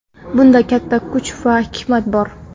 Bunda katta kuch va hikmat bor.